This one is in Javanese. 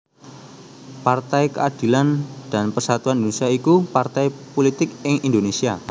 Partai Keadilan dan Persatuan Indonésia iku partai pulitik ing Indonésia